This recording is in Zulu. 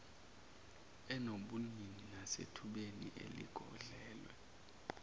enobunini nasethubeni eligodlelwe